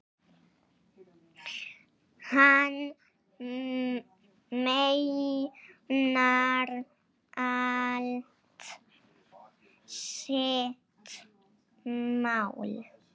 Hann meinar allt sitt mál.